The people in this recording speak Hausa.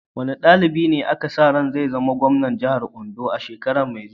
Wane dalibi ne ake sa ran zai zama gwamnan jihar Ondo a shekara mai zuwa?